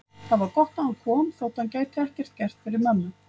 Það var gott að hann kom þótt hann gæti ekkert gert fyrir mömmu.